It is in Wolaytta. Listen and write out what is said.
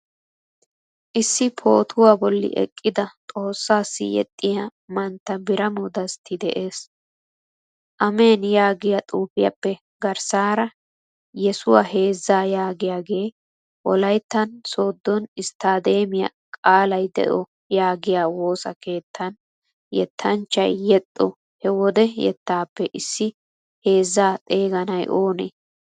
Issi pootuwaa bolli eqqida xoossasi yeexiya mantta Biramo Desti de'ees. Ameen yaagiyaa xuufiyappe garssara yeesuwa heeza yaagiyage, wolayttan sodo istademiya qalay deo yaagiya woosa keetan yeettanchchay yeexxo he wode yeettappe issi heezza xeeganay oonee?